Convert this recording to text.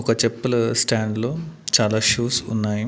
ఒక చెప్పుల స్టాండ్ లో చాలా షూస్ ఉన్నాయి.